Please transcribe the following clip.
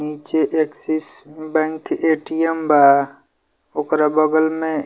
नीचे Axis bank ATM. बा ओकरा बगल में --